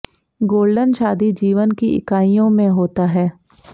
golden शादी जीवन की इकाइयों में होता है